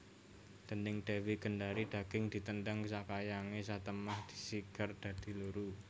Déning Dewi Gendari daging ditendhang sakayange satemah sigar dadi loro